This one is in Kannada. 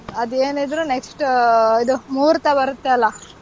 ಅದೇನಿದ್ರೂ next ಆಹ್ ಇದು ಮುಹೂರ್ತ ಬರತ್ತೆ ಅಲ್ಲಾ,